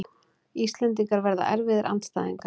Íslendingar verða erfiðir andstæðingar